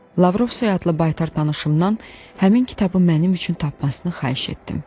Lavrov soyadlı baytar tanışımdan həmin kitabı mənim üçün tapmasını xahiş etdim.